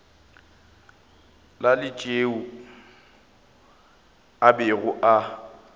la tšeo a bego a